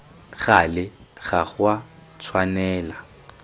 gale ga go a tshwanela